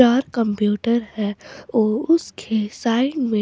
और कंप्यूटर है और उसके साइड में--